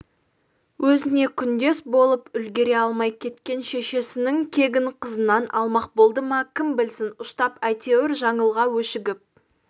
өзіне күндес болып үлгере алмай кеткен шешесінің кегін қызынан алмақ болды ма кім білсін ұштап әйтеуір жаңылға өшігіп